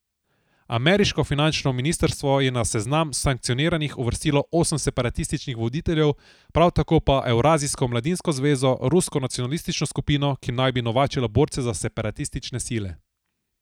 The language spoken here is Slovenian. Ameriško finančno ministrstvo je na seznam sankcioniranih uvrstilo osem separatističnih voditeljev, prav tako pa Evrazijsko mladinsko zvezo, rusko nacionalistično skupino, ki naj bi novačila borce za separatistične sile.